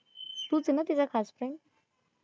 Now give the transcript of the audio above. तूच आहे ना तिचा खास friend?